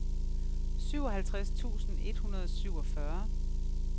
syvoghalvtreds tusind et hundrede og syvogfyrre